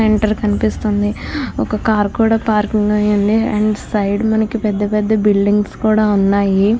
Centre కనిపిస్తుంది ఒక car కూడా పార్కింగ్ అయి ఉంది అనడ సైడ్ మనకి పెద్ధ పెద్ధ బిల్డింగ్స్ కూడా ఉన్నాయి.